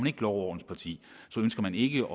et lov og orden parti så ønsker man ikke